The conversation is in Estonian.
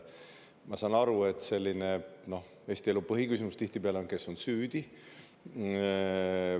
Ma saan aru, et Eesti elu põhiküsimus tihtipeale on: kes on süüdi?